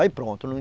Aí pronto.